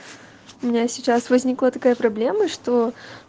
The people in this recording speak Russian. у меня сейчас возникла такая проблема что